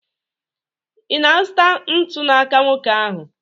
Ị na-azụta ntu n'aka nwoke ahụ?